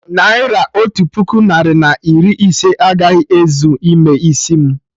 Naira otu puku narị na iri ise agaghị ezu ime isi mu